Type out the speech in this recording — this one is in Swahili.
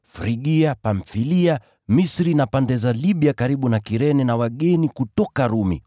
Frigia, Pamfilia, Misri na pande za Libya karibu na Kirene na wageni kutoka Rumi,